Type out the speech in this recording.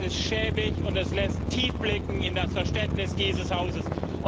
Das ist schäbig, und es lässt tief blicken in das Verständnis dieses Hauses.